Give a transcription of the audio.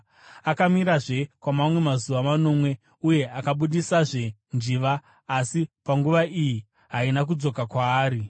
Akamirirazve kwamamwe mazuva manomwe uye akabudisazve njiva, asi panguva iyi haina kuzodzoka kwaari.